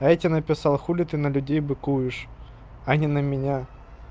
а я тебе написал хули ты на людей быкуешь а не на меня